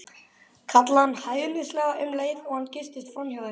kallaði hann hæðnislega um leið og hann geystist framhjá þeim.